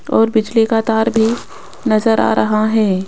और बिजली का तार भी नजर आ रहा है।